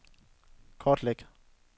kortlæg